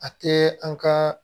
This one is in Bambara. A tɛ an ka